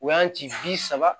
O y'an ci bi saba